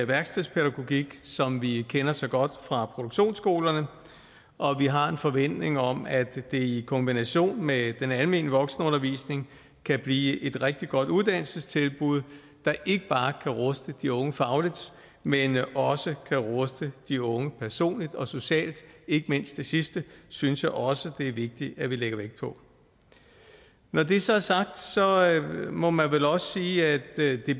værkstedspædagogik som vi kender så godt fra produktionsskolerne og vi har en forventning om at det i kombination med den almene voksenundervisning kan blive et rigtig godt uddannelsestilbud der ikke bare kan ruste de unge fagligt men også kan ruste de unge personligt og socialt ikke mindst det sidste synes jeg også det er vigtigt at vi lægger vægt på når det så er sagt må man vel også sige at det